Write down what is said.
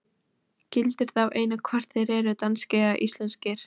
Gildir þá einu hvort þeir eru danskir eða íslenskir.